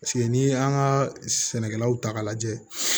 Paseke n'i y'an ka sɛnɛkɛlaw ta k'a lajɛ